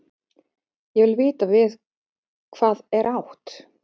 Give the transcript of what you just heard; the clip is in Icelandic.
Ég vil vita við hvað er átt.